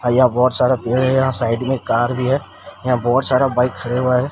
और यहां बहोत सारा पेड़ है यहां साइड में एक कार भी है यहां बहोत सारा बाइक खड़े हुए है।